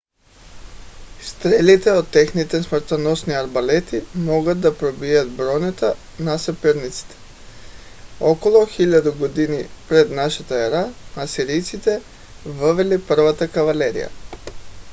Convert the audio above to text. стрелите от техните смъртоносни арбалети могат да пробият бронята на съперници. около 1000 г. пр.н.е. асирийците въвели първата кавалерия